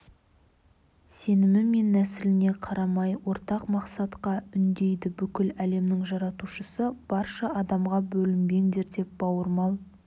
сенімі мен нәсіліне қарамай ортақ мақсатқа үндейді бүкіл әлемнің жаратушысы барша адамға бөлінбеңдер деп бауырмал